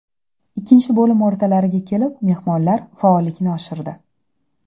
Ikkinchi bo‘lim o‘rtalariga kelib mehmonlar faollikni oshirdi.